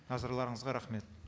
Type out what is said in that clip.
назарларыңызға рахмет